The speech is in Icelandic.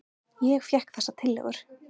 Ég fékk þessar tillögur.